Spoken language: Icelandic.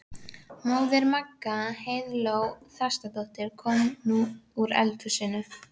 Móðir Magga, Heiðló Þrastardóttir, kom nú úr eldhúsinu.